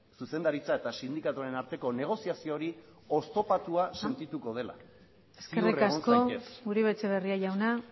zuzendaritza eta sindikatuen arteko negoziazio hori oztopatua sentituko dela ziur egon zaitez besterik ez mila esker eskerrik asko uribe etxeberria jauna